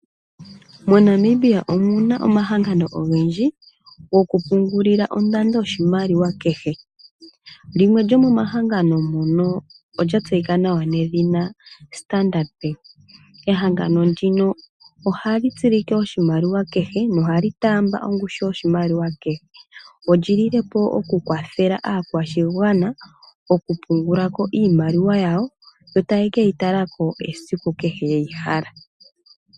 MoNamibia omuna omahangano ogendji gokupungulila ondando yoshimaliwa kehe, limwe lyomomahangano mono olya tseyika nawa nedhina Standard bank. Ehangano ndino ohali tsilike oshimaliwa kehe nohali taamba ongushu yoshimaliwa kehe olyilile po okukwathela aakwashigwana okupungula ko iimaliwa yawo, yo taya keyi tala ko esiku kehe ye yi hala.